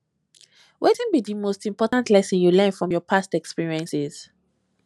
wetin be di most important lesson you learn from your past experiences